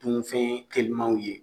Dunfɛn telimanw ye